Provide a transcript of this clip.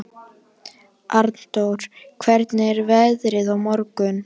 Arndór, hvernig er veðrið á morgun?